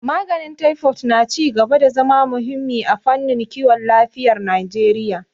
Maganin Taifod na ci gaba da zama muhimmi a fannin kiwon lafiyar Najeriya